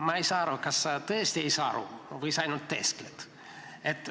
Ma ei saa aru, kas sa tõesti ei saa aru või sa ainult teeskled.